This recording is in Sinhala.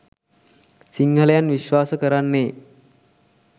සිංහලයන් විශ්වාස කරන්නේ